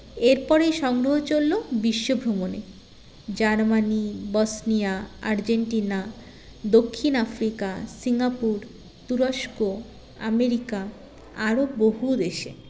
এরপরেই সংগ্ৰহ চললো বিশ্বভ্রমণে জার্মানি বসনিয়া আর্জেন্টিনা দক্ষিণ আফ্রিকা সিঙ্গাপুর তুরস্ক আমেরিকা আরও বহু দেশে